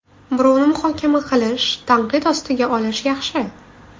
Birovni muhokama qilish, tanqid ostiga olish yaxshi.